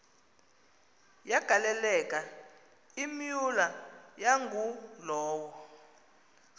yagaleleka imyula yangulowo